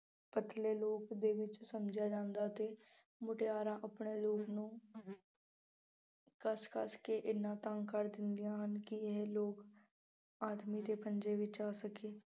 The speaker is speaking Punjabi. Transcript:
ਬਦਲੇ ਰੂਪ ਦੇ ਵਿੱਚ ਸਮਝਿਆ ਜਾਂਦਾ ਅਤੇ ਮੁਟਿਆਰਾਂ ਆਪਣੇ ਨੂੰ ਕੱਸ ਕੱਸ ਕੇ ਐਨਾ ਤੰਗ ਕਰ ਦਿੰਦੀਆਂ ਹਨ ਕਿ ਆਦਮੀ ਦੇ ਪੰਜੇ ਵਿੱਚ ਆ ਸਕੇ।